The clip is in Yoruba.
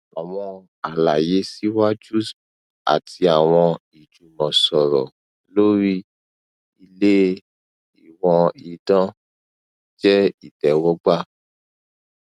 awọn alaye siwaju ati awọn ijumọsọrọ lori ile iwoan idan jẹ itẹwọgba